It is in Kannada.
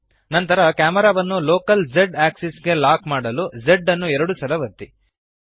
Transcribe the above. ನಂತರ ಕ್ಯಾಮೆರಾವನ್ನು ಲೋಕಲ್ z ಅಕ್ಸಿಸ್ ಗೆ ಲಾಕ್ ಮಾಡಲು Z ಅನ್ನು ಎರಡು ಸಲ ಒತ್ತಿ